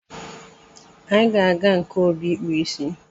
Anyị ga-aga nke Obi ịkpụ ịsị